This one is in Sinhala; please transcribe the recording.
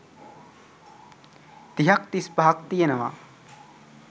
තිහක්‌ තිස්‌පහක්‌ තියෙනවා.